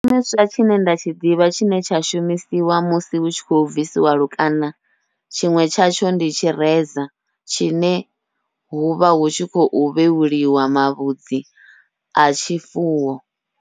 Tshishumiswa tshine nda tshi ḓivha tshine tsha shumisiwa musi hu tshi khou bvisiwa lukanda, tshiṅwe tshatsho ndi tshireza tshine huvha hu tshi khou vhevhuliwa mavhudzi a tshifuwo.